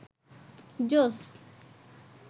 জোস